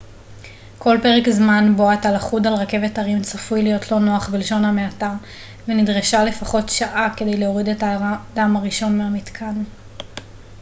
כל פרק זמן בו אתה לכוד על רכבת הרים צפוי להיות לא נוח בלשון המעטה ונדרשה לפחות שעה כדי להוריד את האדם הראשון מהמתקן